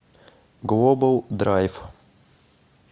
глобал драйв